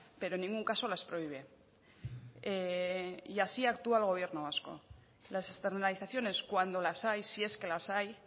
pero en ningún caso las prohíbe y así actúa el gobierno vasco las externalizaciones cuando las hay si es que las hay